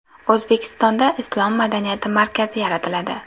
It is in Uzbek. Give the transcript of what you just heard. O‘zbekistonda islom madaniyati markazi yaratiladi.